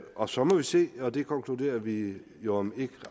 og så må vi se og det konkluderer vi jo om ikke